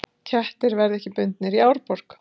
Kettir verði ekki bundnir í Árborg